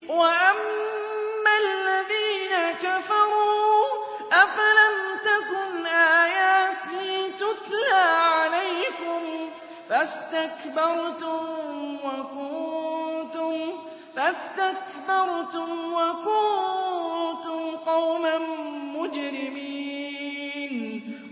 وَأَمَّا الَّذِينَ كَفَرُوا أَفَلَمْ تَكُنْ آيَاتِي تُتْلَىٰ عَلَيْكُمْ فَاسْتَكْبَرْتُمْ وَكُنتُمْ قَوْمًا مُّجْرِمِينَ